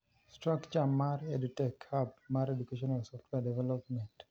Structre mar EdTech Hub mar Educational Software Development.